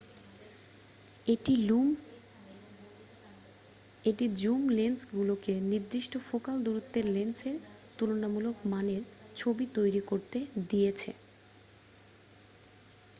এটি জুম লেন্সগুলোকে নির্দিষ্ট ফোকাল দূরত্বের লেন্সের তুলনামূলক মানের ছবিতৈরি করতে দিয়েছে